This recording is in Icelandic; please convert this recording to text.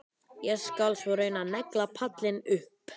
Ég skal svo reyna að negla pallinn upp.